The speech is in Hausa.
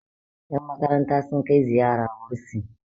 yanmakaranta sun Kai ziyara bursin